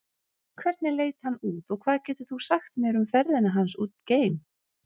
Hvernig leit hann út og hvað getur þú sagt mér um ferðina hans út geim?